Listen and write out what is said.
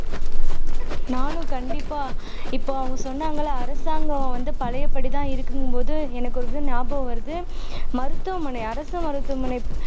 நானும் கண்டிப்பா இப்போ அவங்க சொன்னங்க இல்ல அரசாங்கம் வந்து பழையபடிதான் இருக்குங்கும்போது எனக்கு ஒரு இது நியாபகம் வருது மருத்துவமனை அரசு மருத்துவமனை